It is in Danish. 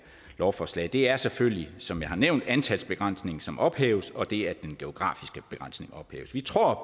lovforslag er selvfølgelig som jeg har nævnt antalsbegrænsningen som ophæves og det at den geografiske begrænsning ophæves vi tror